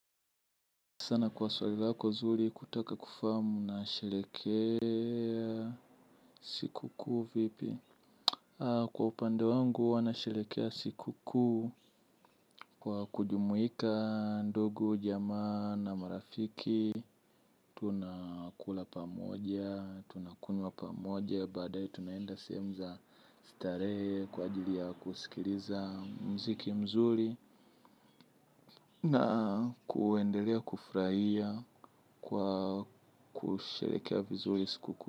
Sana kwa swali lako zuri kutaka kufamu na sherekea siku kuu vipi. Kwa upande wangu hua nasherekea siku kuu. Kwa kujumuika ndogu jamaa na marafiki tunakula pamoja, tunakunywa pamoja. Baadae tunaenda sehemu za starehe kwa ajili ya kusikiliza mziki mzuri. Na kuendelea kufurahia kwa kusherekea vizuri siku kuu.